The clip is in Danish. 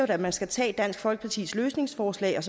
at man skal tage dansk folkepartis løsningsforslag og